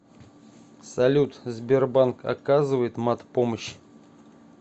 салют сбербанк оказывает мат помощь